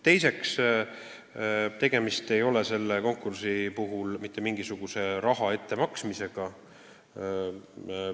Teiseks ei ole selle teenuse puhul tegemist mitte mingisuguse raha ettemaksmisega.